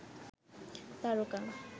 তারকা